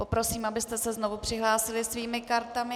Poprosím, abyste se znovu přihlásili svými kartami.